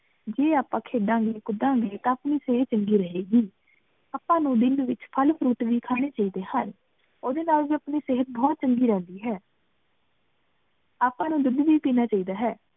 ਜੇ ਆਪਾਂ ਖੇਡਾਂਗੇ ਕੂਦਾ ਗੇ ਤਾਂ ਆਪਣੀ ਸੇਹਤ ਚੰਗੀ ਰਹੇਗੀ ਆਪਾਂ ਨੂੰ ਦਿਨ ਵਿਚ ਫਲ fruit ਵੀ ਖਾਣੇ ਚਾਹੀਦੇ ਹਨ ਓਹਦੇ ਨਾਲ ਵੀ ਆਪਣੀ ਸੇਹਤ ਬੋਹਤ ਚੰਗੀ ਰਿਹੰਦੀ ਹੈ ਆਪਾਂ ਨੂੰ ਦੂਧ ਵੀ ਪੀਣਾ ਚਾਹੀਦਾ ਹੈ